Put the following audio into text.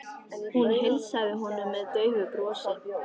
Hún heilsaði honum með daufu brosi.